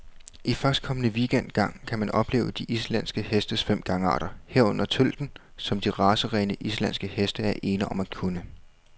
I førstkommende weekend gang kan man opleve de islandske hestes fem gangarter, herunder tølten, som de racerene, islandske heste er ene om at kunne.